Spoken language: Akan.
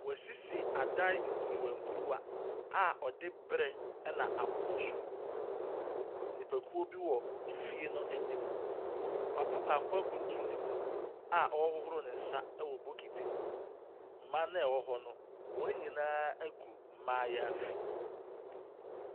Wɔasisi adan nkuruwankuruwa a wɔde brɛ na ɛna abobɔ so. Nnipakuo bi wɔ efie no anim. Papa bako akuntunu ne mu a ɔrehohoro ne nsa wɔ bokiti mu. Mmaa no a wɔwɔ hɔ no, wɔn nyinaa agu mmaayaafi.